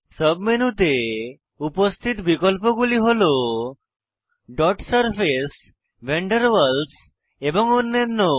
sub মেনুতে উপস্থিত বিকল্পগুলি হল dot surface van der Waals এবং অন্যান্য